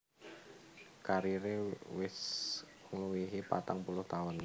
Kariré wis ngluwihi patang puluh taun